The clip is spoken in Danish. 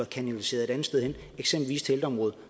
kanaliseret et andet sted hen eksempelvis til ældreområdet